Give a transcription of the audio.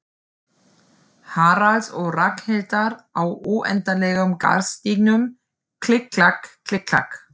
Haralds og Ragnhildar á óendanlegum garðstígnum, klikk-klakk, klikk-klakk.